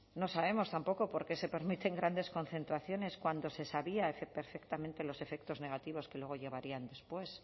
no sabemos tampoco por qué se permiten grandes concentraciones cuando se sabía perfectamente los efectos negativos que luego llevarían después